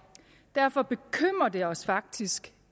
derfor bekymrer det os faktisk